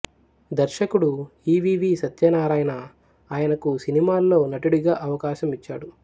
దర్శకుడు E V V Satyanarayana ఆయనకు సినిమాల్లో నటుడిగా అవకాశం ఇచ్చాడు